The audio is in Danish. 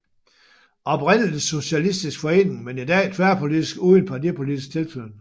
Oprindelig socialistisk forening men i dag tværpolitisk uden partipolitisk tilknytning